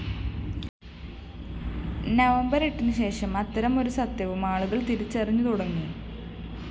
November‍ എട്ടിനുശേഷം അത്തരമൊരു സത്യവും ആളുകള്‍ തിരിച്ചറിഞ്ഞുതുടങ്ങി